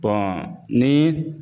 ni